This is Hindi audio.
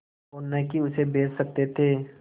और न ही उसे बेच सकते थे